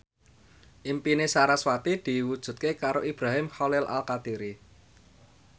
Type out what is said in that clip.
impine sarasvati diwujudke karo Ibrahim Khalil Alkatiri